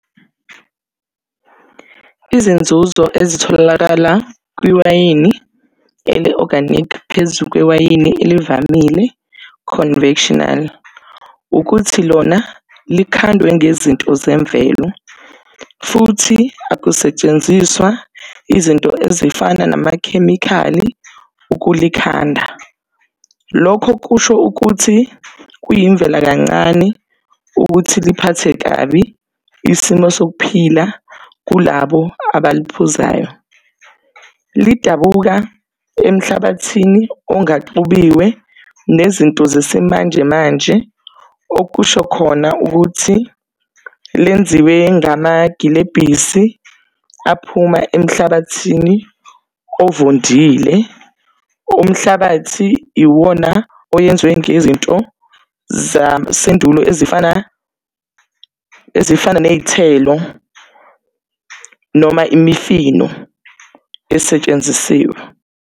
Izinzuzo ezitholakala kwiwayini eli-organic phezu kwewayini elivamile, conventional, ukuthi lona likhandwe ngezinto zemvelo futhi akusetshenziswa izinto ezifana namakhemikhali ukulikhanda. Lokho kusho ukuthi kuyimvela kancane ukuthi liphathe kabi isimo sokuphila kulabo abaliphuzayo. Lidabuka emhlabathini ongaxubiwe nezinto zesimanjemanje, okusho khona ukuthi lenziwe ngamagilebhisi aphuma emhlabathini ovundile, umhlabathi iwona oyenziwe ngezinto zasendulo ezifana, ezifana ney'thelo noma imifino esetshenzisiwe.